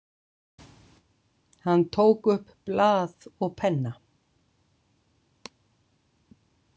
Hann tók upp blað og penna.